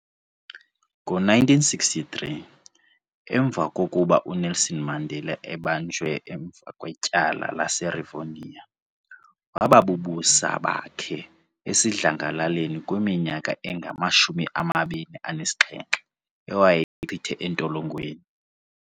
Ngo-1963 emva kokuba uNelson Mandela ebanjwe emva kwetyala laseRevonia waba bubusa bakhe esidlangalaleni kwiminyaka engama 27 ewayeyichithe entolongweni.